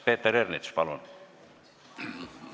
Peeter Ernits, palun!